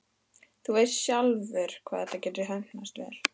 Þú veist sjálfur hvað þetta getur heppnast vel.